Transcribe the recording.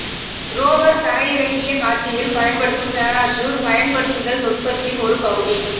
rover தரையிறங்கிய காட்சியில் பயன்படுத்தும் பாராசூட் பயன்படுத்தல் நுட்பத்தின் ஒரு பகுதி